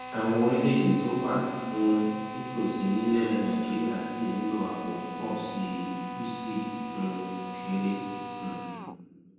àwọn orílèèdè tó wà um nítòsí nílè nàìjíríà ṣì nílò àpò pò sí i ó sì um kéré um